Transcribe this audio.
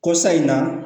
Ko sa in na